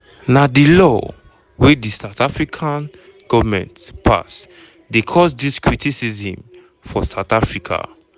na di law wey di south african goment pass dey cause dis criticism for south africa.